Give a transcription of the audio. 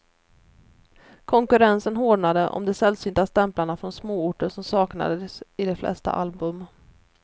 Konkurrensen hårdnade om de sällsynta stämplarna från småorter som saknades i de flesta album.